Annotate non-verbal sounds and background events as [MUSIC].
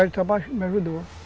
[UNINTELLIGIBLE] me ajudou.